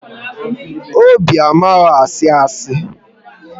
Obi amaghị asị asị